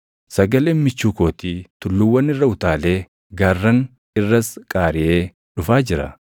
Sagaleen michuu kootii, tulluuwwan irra utaalee gaarran irras qaariʼee dhufaa jira.